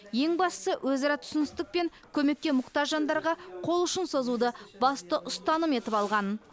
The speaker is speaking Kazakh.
ең бастысы өзара түсіністік пен көмекке мұқтаж жандарға қол ұшын созуды басты ұстаным етіп алған